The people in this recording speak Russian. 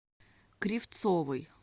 кривцовой